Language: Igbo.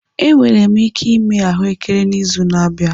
Enwere m ike ịme ahụekere n'izu na-abịa.